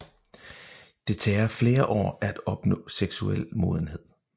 Det tager fler år at opnå seksuel modenhed